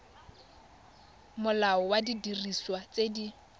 molao wa didiriswa tse di